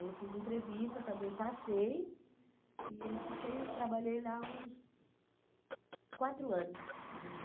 Aí eu fiz entrevista, também passei, e fiquei, trabalhei lá uns quatro anos, mais ou